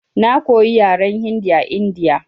Na koya yaran Hindi a India.